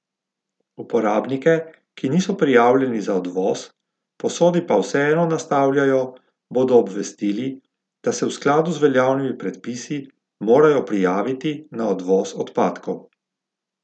Uporabnike, ki niso prijavljeni za odvoz, posode pa vseeno nastavljajo, bodo obvestili, da se v skladu z veljavnimi predpisi morajo prijaviti na odvoz odpadkov.